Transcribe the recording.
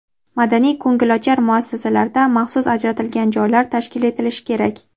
madaniy-ko‘ngilochar muassasalarda maxsus ajratilgan joylar tashkil etilishi kerak.